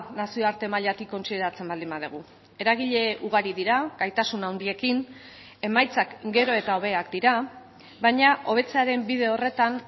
nazioarte mailatik kontsideratzen baldin badugu eragile ugari dira gaitasun handiekin emaitzak gero eta hobeak dira baina hobetzearen bide horretan